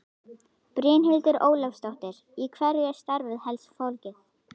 Brynhildur Ólafsdóttir: Í hverju er starfið helst fólgið?